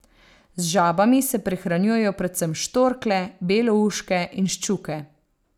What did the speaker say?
Z žabami se prehranjujejo predvsem štorklje, belouške in ščuke.